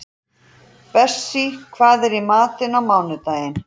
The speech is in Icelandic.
Bessí, hvað er í matinn á mánudaginn?